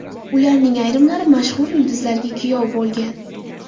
Ularning ayrimlari mashhur yulduzlarga kuyov bo‘lgan.